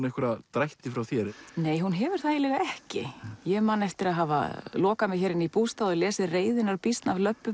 einhverja drætti frá þér nei eiginlega ekki ég man eftir að hafa lokað mig hér inni í bústað og lesið reiðinnar býsn af